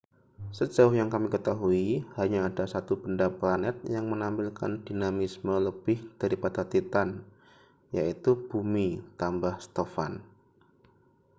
sejauh yang kami ketahui hanya ada satu benda planet yang menampilkan dinamisme lebih daripada titan yaitu bumi tambah stofan